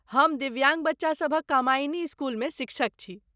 हम दिव्याङ्ग बच्चासभक कामायिनी स्कूलमे शिक्षक छी।